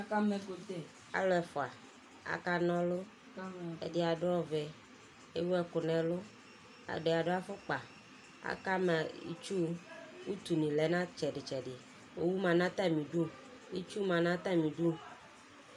Akama ɛkʋtɛ, alʋ ɛfua, akana ɔlʋ Ɛdi adʋ ɔvɛ, ewu ɛkʋ nɛlʋ Ɛdi adʋ afʋkpa, akama itsu Utu ni lɛ nʋ itsɛdi itsɛdi Owu ma nʋ atami idu, itsu ma nʋ atami idu